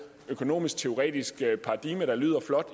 økonomisk teoretisk paradigme der lyder flot